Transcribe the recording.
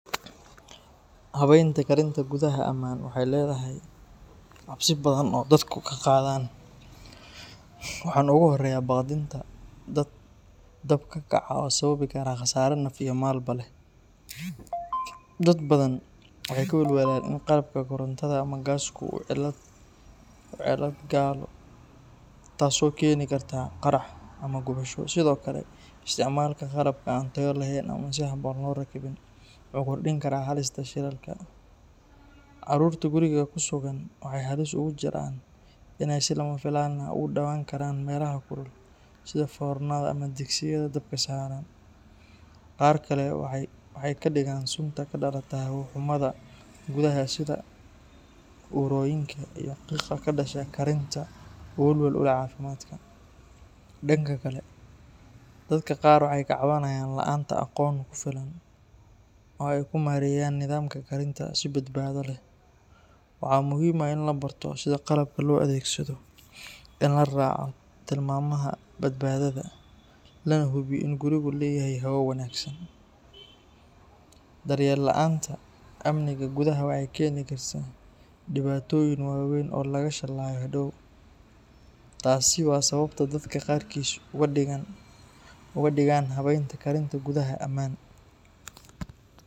Habaynta karinta gudaha amaan waxay leedahay cabsi badan oo dadku ka qaadaan, waxaana ugu horeeya baqdinta dab ka kaca oo sababi kara khasaare naf iyo maalba leh. Dad badan waxay ka welwelaan in qalabka korontada ama gaaska uu cilad galo taasoo keeni karta qarax ama gubasho. Sidoo kale, isticmaalka qalabka aan tayo lahayn ama aan si habboon loo rakibin wuxuu kordhin karaa halista shilalka. Caruurta guriga ku sugan waxay halis ugu jiraan inay si lama filaan ah ugu dhawaan karaan meelaha kulul sida foornada ama digsiyada dabka saaran. Qaar kale waxay ka digaan sunta ka dhalata hawo-xumida gudaha sida uurooyinka iyo qiiqa ka dhasha karinta oo waxyeello u leh caafimaadka. Dhanka kale, dadka qaar waxay ka cabanayaan la’aanta aqoon ku filan oo ay ku maareeyaan nidaamka karinta si badbaado leh. Waxaa muhiim ah in la barto sida qalabka loo adeegsado, in la raaco tilmaamaha badbaadada, lana hubiyo in gurigu leeyahay hawo wanaagsan. Daryeel la’aanta amniga gudaha waxay keeni kartaa dhibaatooyin waaweyn oo laga shalaayo hadhow. Taasi waa sababta dadka qaarkiis uga digaan habaynta karinta gudaha amaan